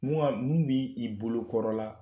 Mun ga mun b'i' bolokɔrɔ la